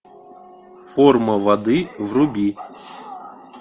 форма воды вруби